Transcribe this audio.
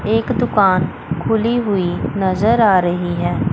एक दुकान खुली हुई नजर आ रही है।